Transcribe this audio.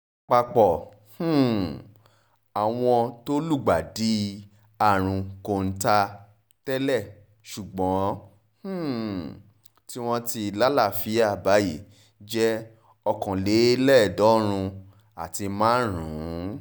àpapọ̀ um àwọn tó lùgbàdì àrùn kọ́ńtà tẹ́lẹ̀ ṣùgbọ́n um tí wọ́n ti lálàáfíà báyìí jẹ́ okòóléèédéédọ́rùn àti márùn-ún